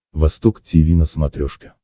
восток тиви на смотрешке